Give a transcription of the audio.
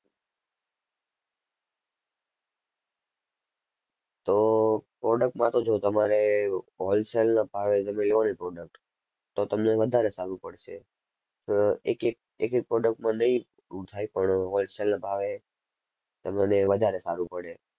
તો product માં તો જો તમારે wholesale ના ભાવે તમે લો ને product તો તમને વધારે સારું પડશે. અર એક એક એક એક product મા નહીં થાય પણ wholesale ના ભાવે તમને વધારે સારું પડે.